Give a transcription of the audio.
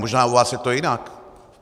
Možná u vás je to jinak.